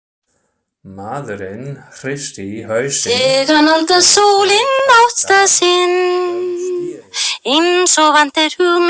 Maðurinn hristi hausinn og greip fastar um stýrið.